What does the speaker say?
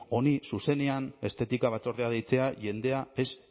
honi zuzenean estetika batzordea deitzea jendea ez